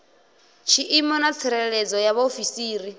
tshiimo na tsireledzo ya vhaofisiri